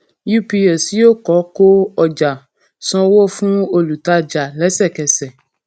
ups yóò kó kó ọjà san owó fún olùtajà lẹsẹkẹsẹ